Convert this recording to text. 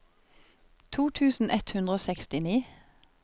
to tusen ett hundre og sekstini